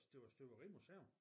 Det var støberimuseum